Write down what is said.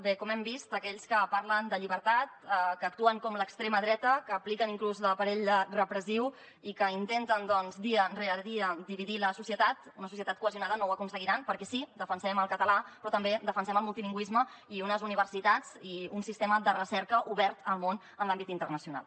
bé com hem vist aquells que parlen de llibertat que actuen com l’extrema dreta que apliquen inclús l’aparell repressiu i que intenten dia rere dia dividir la societat una societat cohesionada no ho aconseguiran perquè sí defensem el català però també defensem el multilingüisme i unes universitats i un sistema de recerca obert al món en l’àmbit internacional